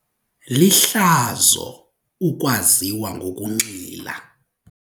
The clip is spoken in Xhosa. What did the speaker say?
Lihlazo ukwaziwa ngokunxila.